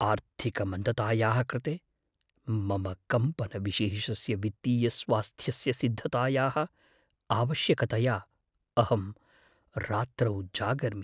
आर्थिकमन्दतायाः कृते मम कम्पनविशेषस्य वित्तीयस्वास्थ्यस्य सिद्धतायाः आवश्यकतया अहं रात्रौ जागर्मि।